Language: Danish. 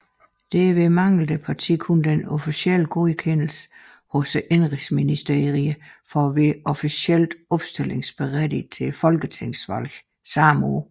Derved manglede partiet kun den officielle godkendelse hos Indenrigsministeriet for at være officielt opstillingsberettigede til Folketingsvalget samme år